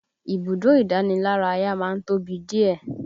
Ibùdó ìdánilárayá má ń tóbi díẹ̀